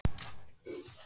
Hitinn fór vel í þau.